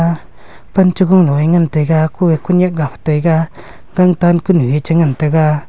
aa pan cha gung lo ee ngantaga ko ee kunyak ga phai taiga gangtan kunu ee cha ngantaga.